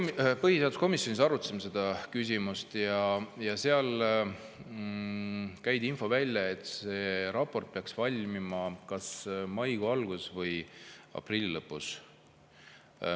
Me põhiseaduskomisjonis arutasime seda küsimust ja seal käidi välja info, et see raport peaks valmima kas maikuu alguses või aprilli lõpus.